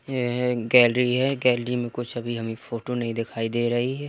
ये एक गैलरी है गैलरी में कुछ अभी हमें फोटो नहीं दिखाई दे रही है।